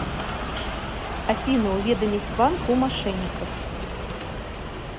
афина уведомить банк о мошенниках